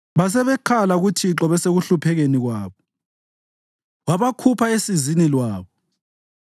Basebekhala kuThixo besekuhluphekeni kwabo, wabakhupha esizini lwabo.